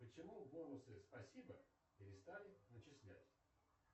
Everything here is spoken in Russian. почему бонусы спасибо перестали начислять